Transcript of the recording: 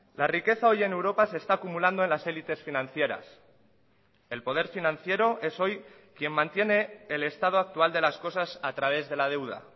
la riqueza hoy en europa se está acumulando en las élites financieras el poder financiero es hoy quien mantiene el estado actual de las cosas a través de la deuda